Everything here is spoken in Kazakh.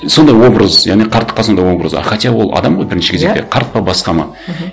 сондай образ және қарттыққа сондай образ а хотя ол адам ғой бірінші кезекте қарт па басқа ма мхм